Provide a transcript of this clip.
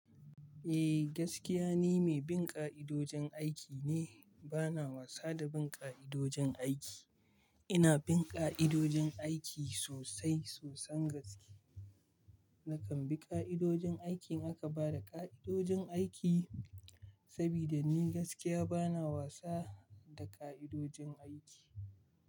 Eh gaskiya ni mai bin ƙa'idojin aiki ne, bana wasa da bin ƙa'idojin aiki. Ina bin ƙa'idojin aiki sosai sosan gaske. Nakan bi ƙa'idojin aikin idan aka ba da ƙa'idojin aiki sabida ni gaskiya bana wasa da ƙa'idojin aiki.